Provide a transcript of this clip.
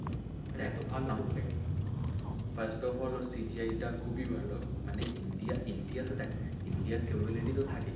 First of all CGI টা খুবই ভালো মানে India India তে তো দেখ India র capability তো থাকেই,